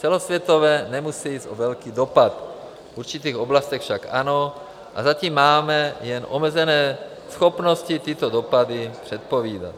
Celosvětově nemusí jít o velký dopad, v určitých oblastech však ano, a zatím máme jen omezené schopnosti tyto dopady předpovídat